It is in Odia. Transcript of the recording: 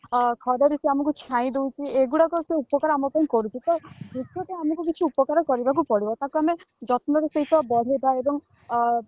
ଅ ଖରାରେ ସେ ଆମକୁ ଛାଇ ଦଉଛି ଏଗୁଡାକ ସେ ଉପକାର ସେ ଆମ ପାଇଁ କରୁଛି ତ ବୃକ୍ଷ ତ ଆମକୁ କିଛି ଉପକାର କରିବା ପାଇଁ ପଡିବ ତାକୁ ଆମେ ଯତ୍ନ ର ସହିତ ବଢେଇବା ଏବଂ ଅ